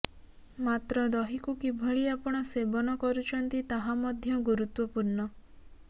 ମାତ୍ର ଦହିକୁ କିଭଳି ଆପଣ ସେବନ କରୁଛନ୍ତି ତାହା ମଧ୍ୟ ଗୁରୁତ୍ୱପୂର୍ଣ୍ଣ